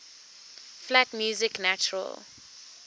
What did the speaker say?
flat music natural